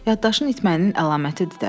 Yaddaşın itməyinin əlamətidir də.